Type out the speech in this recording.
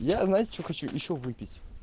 я знаете что хочу ещё выпить